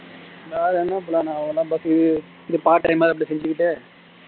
வேற என்ன plan உ அவ்ளோதான் but இது part time இத அப்படியே செஞ்சுக்கிட்டே